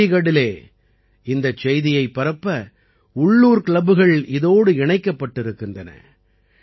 சண்டீகட்டிலே இந்தச் செய்தியைப் பரப்ப உள்ளூர் கிளப்புகள் இதோடு இணைக்கப்பட்டிருக்கின்றன